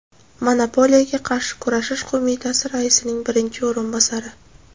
Monopoliyaga qarshi kurashish qo‘mitasi raisning birinchi o‘rinbosari.